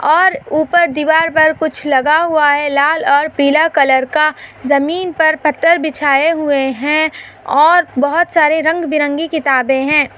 और ऊपर दीवार पर कुछ लगा हुआ है लाल और पीला कलर का जमीन पर पत्थर बिछाये हुए है और बहुत सारे रंग-बिरंगी किताबे है।